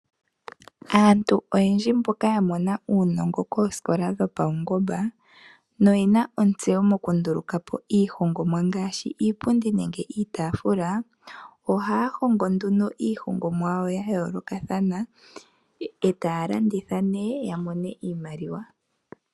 Aantu oyendji mboka yamona uunongo koosikola dhopawungomba na oyena otseyo mokunduluka po iihongomwa ngaashi iipundi nenge iitaafula, ohaya hongo nduno iihongomwa yawo yayoolokathana e taya landitha ne yamone iimaliwa.